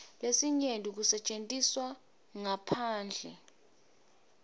lesinyenti kusetjentiswe ngaphandle